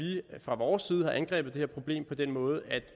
fra vores side har angrebet det her problem på den måde at